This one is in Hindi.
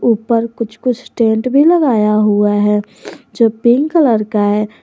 ऊपर कुछ कुछ टेंट भी लगाया हुआ है जो पिंक कलर का है।